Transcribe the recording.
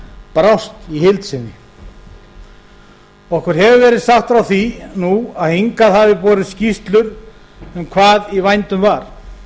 brást í heild sinni okkur hefur verið sagt frá því nú að hingað hafi borist skýrslur um hvað í vændum var